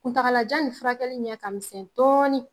Kuntagalajan nin furakɛli ɲɛ ka misɛn dɔɔni.